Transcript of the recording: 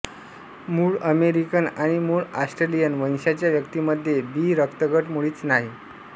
मूळ अमेरिकन आणि मूळ ऑस्ट्रेलियन वंशाच्या व्यक्तीमध्ये बी रक्तगट मुळीच नाही